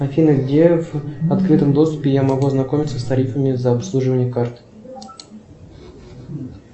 афина где в открытом доступе я могу ознакомиться с тарифами за обслуживание карты